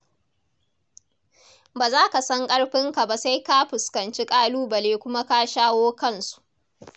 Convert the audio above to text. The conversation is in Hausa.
Ba za ka san ƙarfinka ba sai ka fuskanci ƙalubale kuma ka shawo kansu.